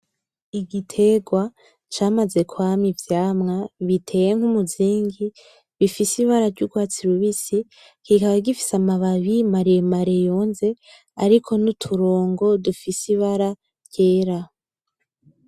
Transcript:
Igitegwa camaze kwama ivyamwa biteye nkumuzingi bifise ibara ry'urwatsi rubisi kikaba gifise amababi maremare yonze ariko n'uturongo dufise ibara ryera.